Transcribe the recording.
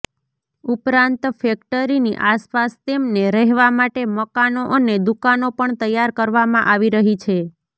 ઉપરાંત ફેક્ટરીની આસપાસ તેમને રહેવા માટે મકાનો અને દૂકાનો પણ તૈયાર કરવામાં આવી રહી છે